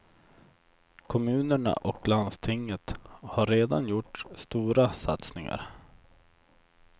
Kommunerna och landstinget har redan gjort stora satsningar.